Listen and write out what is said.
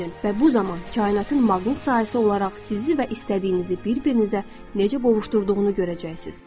və bu zaman kainatın maqnit sahəsi olaraq sizi və istədiyinizi bir-birinizə necə qovuşdurduğunu görəcəksiz.